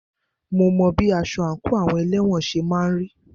Mo mọ bí aṣọ àńkò àwọn elẹ́wọ̀n ṣe máà ń rí.